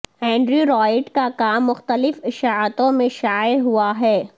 Andrew Wright کا کام مختلف اشاعتوں میں شائع ہوا ہے